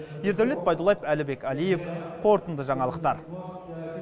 ердәулет байдуллаев әлібек әлиев қорытынды жаңалықтар